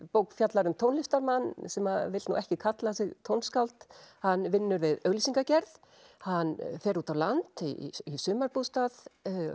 bók fjallar um tónlistarmann sem vill nú ekki kalla sig tónskáld hann vinnur við auglýsingagerð hann fer út á land í sumarbústað